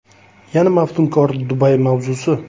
Yana maftunkor Dubay mavzusi.